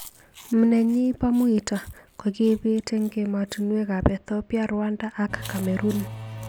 MNnyeni bo muito kokibit eng emotunwek ab Ethipia, Rwanda ak Cameroon.